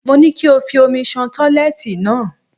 Mo ní kí o fomi ṣan tọ́ílẹ́ẹ̀tì náà.